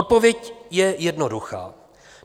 Odpověď je jednoduchá.